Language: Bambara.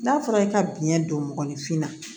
N'a fɔra e ka biɲɛ don mɔgɔnifin na